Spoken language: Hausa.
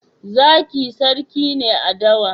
Zaki sarki ne a dawa.